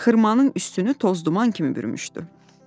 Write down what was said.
Xırmanın üstünü tozduman kimi bürümüşdü.